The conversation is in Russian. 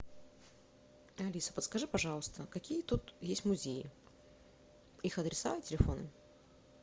алиса подскажи пожалуйста какие тут есть музеи их адреса и телефоны